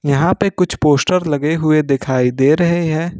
यहां पे कुछ पोस्टर लगे हुए दिखाई दे रहे हैं।